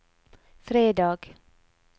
fredag